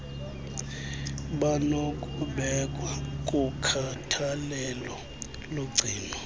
banokubekwa kukhathalelo logcino